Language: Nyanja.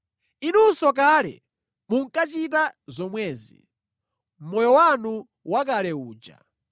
Inunso kale munkachita zomwezi, mʼmoyo wanu wakale uja.